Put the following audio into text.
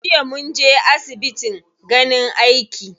Jiya munje asbitin ganin aiki.